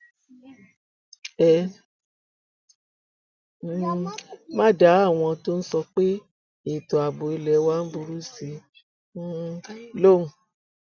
ẹ um má dá àwọn tó ń sọ pé ètò ààbò ilé wa ń burú sí i um lóhùn